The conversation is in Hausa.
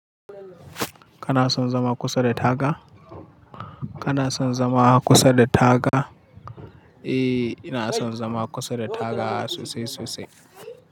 Kana son zama kusa da taga? Kana son zama kusa da taga? Eh, ina son zama kusa da taga sosai sosai.